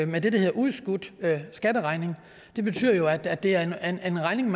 med det der hedder udskudt skatteregning det betyder jo at det er en er en regning